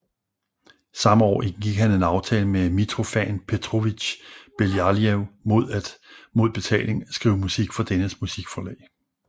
Samme år indgik han en aftale med Mitrofan Petrovitj Belaiev mod at mod betaling skrive musik for dennes musikforlag